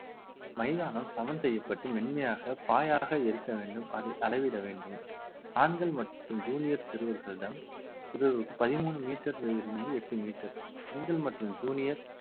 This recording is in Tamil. மைதானம் சமன் செய்யப்பட்டு மென்மையாக பாயாக இருக்க வேண்டும் அதை அளவிட வேண்டும் ஆண்கள் மற்றும் junior சிறுவர்களிடம் பிறருக்கு பதிமூணு metre லிருந்து எட்டு metre பெண்கள் மற்றும் junior